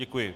Děkuji.